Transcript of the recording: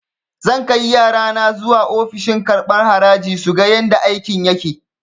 Zan kai yarana zuwa ofishin karɓan haraji suga yadda aikin yake